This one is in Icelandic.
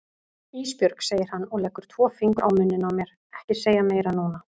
Ísbjörg, segir hann og leggur tvo fingur á munninn á mér, ekki segja meira núna.